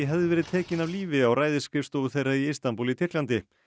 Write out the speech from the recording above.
hefði verið tekinn af lífi á ræðisskrifstofu þeirra í Istanbúl í Tyrklandi